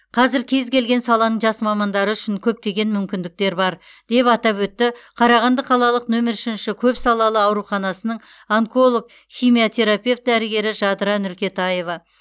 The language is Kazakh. қазір кез келген саланың жас мамандары үшін көптеген мүмкіндіктер бар деп атап өтті қарағанды қалалық нөмір үшінші көпсалалы ауруханасының онколог химиотерапевт дәрігері жадыра нұркетаева